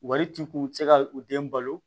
Wari t'u kun u tɛ se ka u den balo